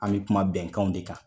An bɛ kuma bɛnkanw de kan